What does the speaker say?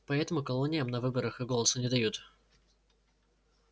поэтому колониям на выборах и голоса не дают